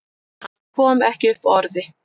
Hann kom ekki upp orði.